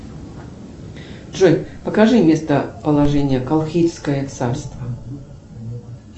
джой покажи местоположение колхидское царство